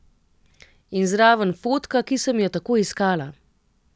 In zraven fotka, ki sem jo tako iskala.